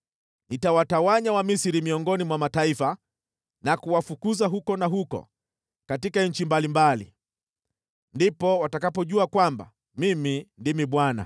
Nitawatawanya Wamisri miongoni mwa mataifa na kuwafukuza huku na huko katika nchi mbalimbali. Ndipo watakapojua kwamba Mimi ndimi Bwana .”